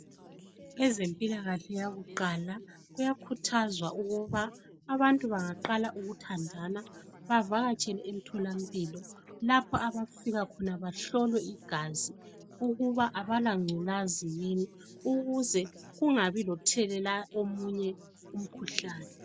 Ezempilakahle yakuqala kuyakhuthazwa ukuba abantu bengaqala ukuthandana bavakatshele emtholampilo lapho abafika khona bahlolwe igazi ukuba abalangculazi yini ukuze kungabe lomunye othelela omunye umkhuhlane.